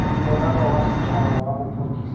morero wa setšhaba wa bophodisa